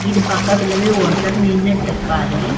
இது பக்கத்துலவே ஒருத்தர் நின்னுட்டு இருக்காரு.